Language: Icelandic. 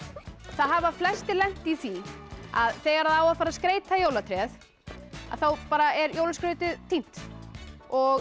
það hafa flestir lent í því að þegar á að fara að skreyta jólatréð þá bara er jólaskrautið týnt og